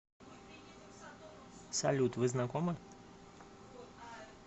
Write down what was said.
салют вы знакомы